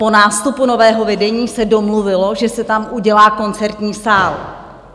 Po nástupu nového vedení se domluvilo, že se tam udělá koncertní sál.